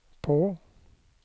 på